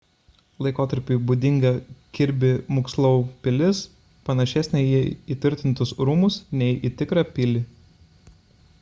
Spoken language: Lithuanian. laikotarpiui būdinga kirbi mukslou pilis panašesnė į įtvirtintus rūmus nei į tikrą pilį